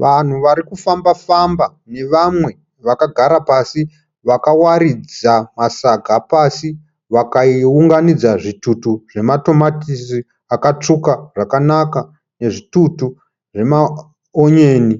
Vanhu vari kufamba famba nevamwe vakagara pasi vakawaridza masaga pasi vakaunganidza zvitutu zvematomatisi akatsvuka zvakanaka nezvitutu zvemaonyeni.